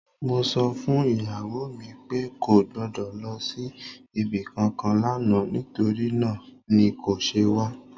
Mo sọ fún ìyàwó mi pé kò gbọ́dọ̀ lọ sí ibi kankan lánàá, nítorí náà ni kò ṣe wá.